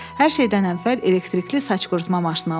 Hər şeydən əvvəl elektrikli saç qurutma maşını alaq.